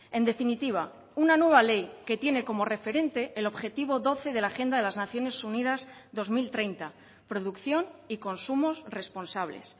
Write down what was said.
en definitiva una nueva ley que tiene como referente el objetivo doce de la agenda de las naciones unidas dos mil treinta producción y consumos responsables